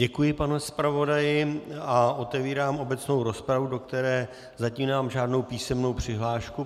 Děkuji panu zpravodaji a otevírám obecnou rozpravu, do které zatím nemám žádnou písemnou přihlášku.